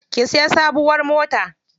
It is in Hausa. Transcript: Ki siya sabuwar mota.